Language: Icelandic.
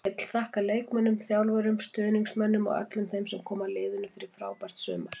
Vill þakka leikmönnum, þjálfurum, stuðningsmönnum og öllum þeim sem koma að liðinu fyrir frábært sumar.